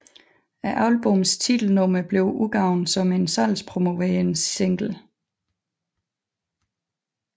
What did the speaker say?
Albummets titelnummer blev udgivet som en salgspromoverende single